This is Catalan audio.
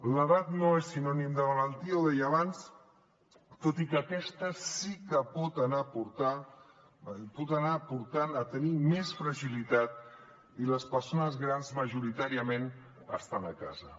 l’edat no és sinònim de malaltia ho deia abans tot i que aquesta sí que pot anar portant a tenir més fragilitat i les persones grans majoritàriament estan a casa